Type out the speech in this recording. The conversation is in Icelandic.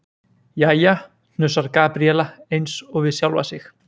Jæja, hnussar Gabríela eins og við sjálfa sig.